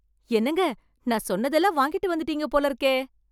என்னங்க, நான் சொன்னதெல்லாம் வாங்கிட்டு வந்துட்டீங்க போலிருக்கே.